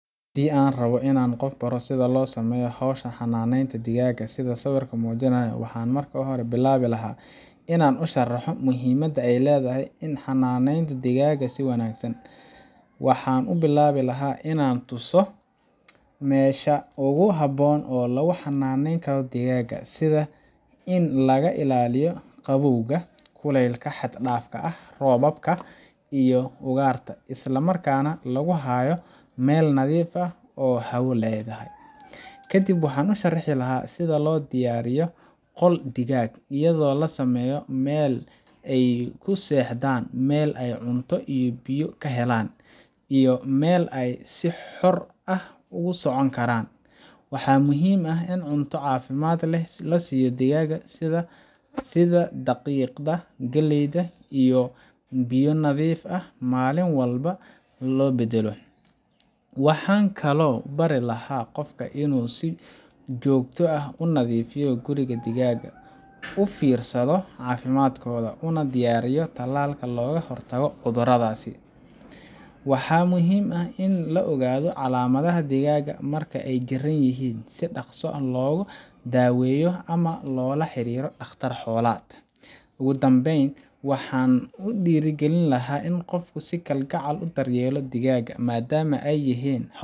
Haddii aan rabbo inaan qof baro sida loo sameeyo hawsha xanaaneynta digaagga sida uu sawirku muujinayo, waxaan marka hore bilaabi lahaa inaan u sharraxo muhiimadda ay leedahay in la xannaaneeyo digaagga si wanaagsan. Waxaan ku bilaabi lahaa inaan tuso meesha ugu habboon ee lagu xannaaneyn karo digaagga, sida in laga ilaaliyo qabowga, kulaylka xad-dhaafka ah, roobka, iyo ugaarta, isla markaana lagu hayo meel nadiif ah oo hawo leedahay. Kadib waxaan u sharraxi lahaa sida loo diyaariyo qol digaag, iyadoo la sameynayo meel ay ku seexdaan, meel ay cunto iyo biyo ka helaan, iyo meel ay si xor ah ugu socon karaan. Waxaa muhiim ah in cunto caafimaad leh la siiyo digaagga, sida daqiiqda, galleyda, iyo biyo nadiif ah, maalin walbana loo beddelo. Waxaan kaloo u bari lahaa qofka inuu si joogto ah u nadiifiyo guriga digaagga, u fiirsado caafimaadkooda, una diyaariyo tallaalka looga hortago cudurada. Waxaa muhiim ah in la ogaado calaamadaha digaagga marka ay jiran yihiin si si dhaqso ah loogu daaweeyo ama loola xiriiro dhakhtar xoolaad. Ugu dambeyn, waxaan dhiirrigelin lahaa in qofku si kalgacal leh u daryeelo digaagga maadaama ay yihiin